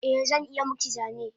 Eh zan iya miki zane